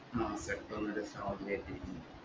ആഹ് പെട്ടെന്നൊരു sound കേട്ട്